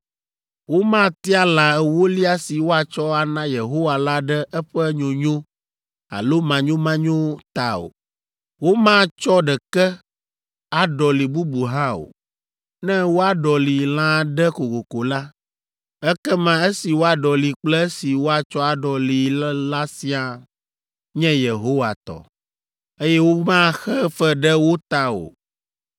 Womatia lã ewolia si woatsɔ ana Yehowa la ɖe eƒe nyonyo alo manyomanyo ta o. Womatsɔ ɖeke aɖɔli bubu hã o. Ne woaɖɔli lã aɖe kokoko la, ekema esi woaɖɔli kple esi woatsɔ aɖɔlii la siaa nye Yehowa tɔ, eye womaxe fe ɖe wo ta o!’ ”